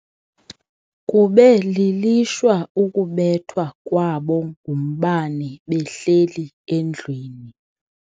Kube lilishwa ukubethwa kwabo ngumbane behleli endlwini.